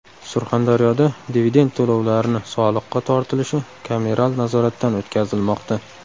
Surxondaryoda dividend to‘lovlarini soliqqa tortilishi kameral nazoratdan o‘tkazilmoqda.